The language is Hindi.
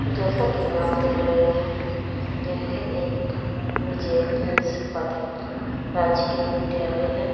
जैसा कि आप देख रहे हैं यह एक विजय हिंस पथिक राजकीय विद्यालय है।